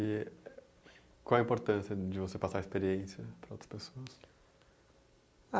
E qual a importância de você passar a experiência para outras pessoas? Ah